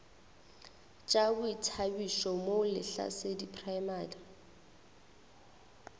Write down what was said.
tša boithabišo mo lehlasedi primary